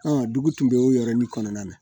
dugu tun bɛ o yɔrɔnin kɔnɔna na